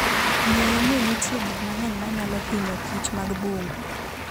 Ng'e ni nitie gik mang'eny ma nyalo hinyokich mag bungu.